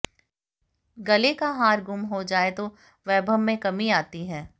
गले का हार गुम हो जाए तो वैभव में कमी आती है